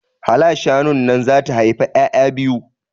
Hala shanun nan zata haifi ƴaƴa biyu